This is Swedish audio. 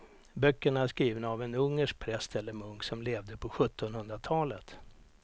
Böckerna är skrivna av en ungersk präst eller munk som levde på sjuttonhundratalet.